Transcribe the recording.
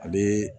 A bɛ